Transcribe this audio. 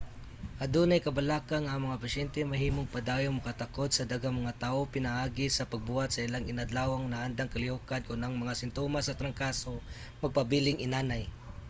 adunay kabalaka nga ang mga pasyente mahimong padayong makatakod sa daghang mga tawo pinaagi sa pagbuhat sa ilang inadlawng naandang kalihokan kon ang mga simtomas sa trangkaso magpabiling inanay